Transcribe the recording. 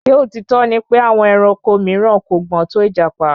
Ṣé òtítọ́ ni pè àwọn ẹranko mìíràn kò gbọ́n tò ìjàpá?